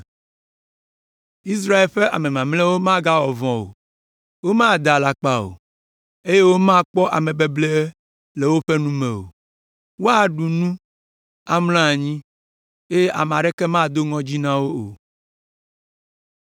Israel ƒe ame mamlɛawo magawɔ vɔ̃ o, womada alakpa o, eye womakpɔ amebeble le woƒe nu me o. Woaɖu nu, amlɔ anyi, eye ame aɖeke mado ŋɔdzi na wo o.”